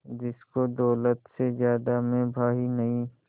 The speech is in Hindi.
जिसको दौलत से ज्यादा मैं भाई नहीं